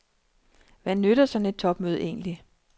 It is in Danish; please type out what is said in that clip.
Hvad nytter sådan et topmøde egentlig.